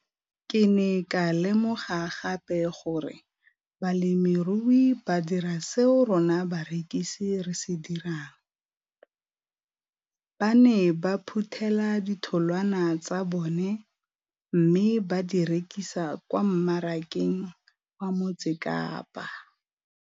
Ke ne ka lemoga gape gore balemirui ba dira seo rona barekisi re se dirang - ba ne ba phuthela ditholwana tsa bona mme ba di rekisa kwa marakeng wa Motsekapa.